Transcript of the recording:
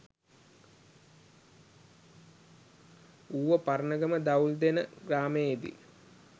Uva Paranagama Dawuldena ග්‍රාමයේදී